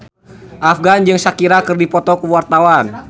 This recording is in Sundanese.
Afgan jeung Shakira keur dipoto ku wartawan